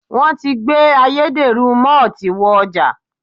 Wọ́n ti gbé ayédèrú mọ́ọ́tì wọ ọjà.